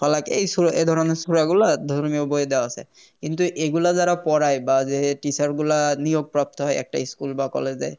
হলাক এই সুর এধরণের সূরা গুলা ধর্মীয় বইয়ে দেওয়া আছে কিন্তু এগুলা যারা পড়ায় বা যে Teacher গুলা নিয়োগপ্রাপ্ত হয় একটা School বা College এ